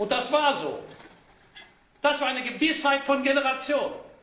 Das war so. Das war eine Gewissheit von Generationen.